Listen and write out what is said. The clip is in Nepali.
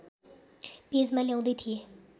पेजमा ल्याउँदै थिएँ